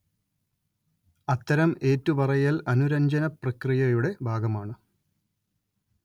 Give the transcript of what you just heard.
അത്തരം ഏറ്റുപറയൽ അനുരഞ്ജനപ്രക്രിയയുടെ ഭാഗമാണ്